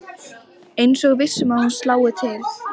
Eins og viss um að hún slái til.